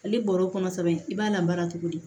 Ale bɔr'o kɔnɔ kosɛbɛ i b'a lamara cogo di